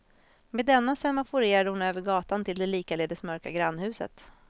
Med denna semaforerade hon över gatan till det likaledes mörka grannhuset.